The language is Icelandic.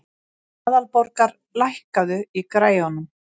Aðalborgar, lækkaðu í græjunum.